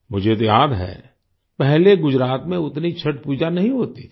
मुझे तो याद है पहले गुजरात में उतनी छठ पूजा नहीं होती थी